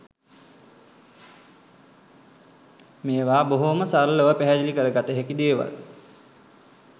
මේවා බොහෝම සරලව පැහැදිලි කරගත හැකි දේවල්.